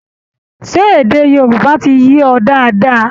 Ṣé èdè Yorùbá ti yé ọ dáadáa?